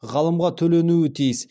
ғалымға төленуі тиіс